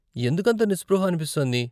ఎందుకంత నిస్పృహ అనిపిస్తోంది ?